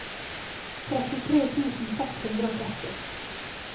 trettitre tusen seks hundre og tretti